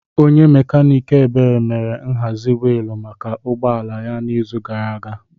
Onye mekaniiki Ebere mere nhazi wiilu maka ụgbọ ala ya n'izu gara aga.